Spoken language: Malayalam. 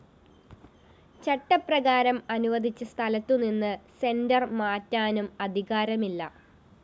ചട്ടപ്രകാരം അനുവദിച്ച സ്ഥലത്തുനിന്ന് സെന്റർ മാറ്റാനും അധികാരമില്ല